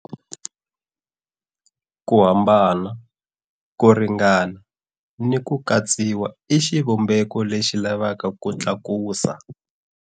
Ku hambana, ku ringana ni ku katsiwa i xivumbeko lexi lavaka ku tlakusa.